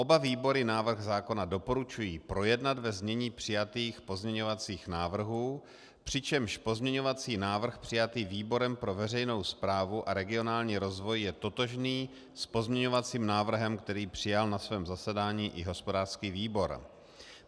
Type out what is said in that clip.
Oba výbory návrh zákona doporučují projednat ve znění přijatých pozměňovacích návrhů, přičemž pozměňovací návrh přijatý výborem pro veřejnou správu a regionální rozvoj je totožný s pozměňovacím návrhem, který přijal na svém zasedání i hospodářský výbor.